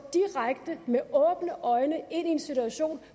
med åbne øjne ind i en situation